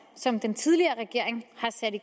som den tidligere regering